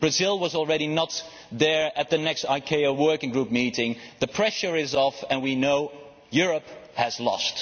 Brazil has already not attended the next ICAO working group meeting, the pressure is off and we know Europe has lost.